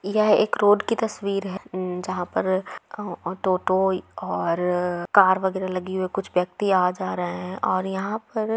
यह एक रोड की तस्वीर है। जहां पर ऑटो-ऑटो और कार वगेरा लगी हुई है कुछ व्यक्ति आ जा रहे है और यहाँ पर--